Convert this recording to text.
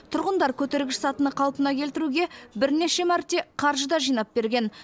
тұрғындар көтергіш сатыны қалпына келтіруге бірнеше мәрте қаржы да жинап берген